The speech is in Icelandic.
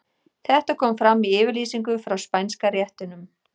Þetta kom fram í yfirlýsingu frá Spænska réttinum.